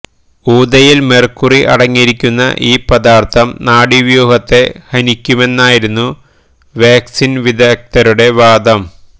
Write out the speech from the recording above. ഈതയിൽ mercury അടങ്ങിയിരിക്കുന്ന ഈ പദാർത്ഥം നാഡീവ്യൂഹത്തെ ഹനിക്കുമെന്നായിരുന്നു വാക്സിൻ വിരുദ്ധരുടെ വാദം